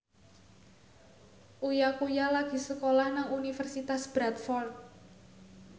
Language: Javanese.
Uya Kuya lagi sekolah nang Universitas Bradford